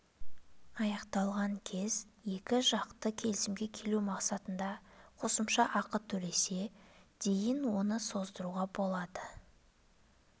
аяқталған кез екі жақты келісімге келу мақсатында қосымша ақы төлесе дейін оны создыруға болады ол